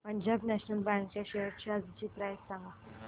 Punjab National Bank च्या shares आजची price सांगा